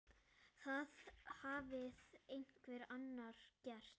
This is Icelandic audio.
Það hafði einhver annar gert.